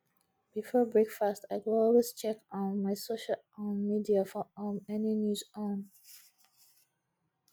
before breakfast i go always check um my social um media for um any news on